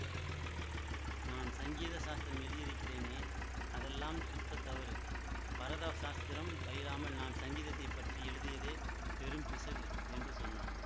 நான் சங்கீத சாஸ்திரம் எழுதியிருக்கிறேனே அதெல்லாம் சுத்தத் தவறு பரத சாஸ்திரம் பயிலாமல் நான் சங்கீதத்தை பற்றி எழுதியதே பெரும் பிசகு என்று சொன்னார்